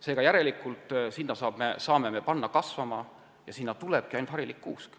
Seega, järelikult saame ja peamegi sinna kasvama panna ainult harilikku kuuske.